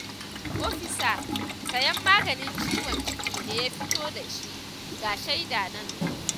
Ofisa sayen maganin ciwon ciki ne ya fito da shi ga shaida nan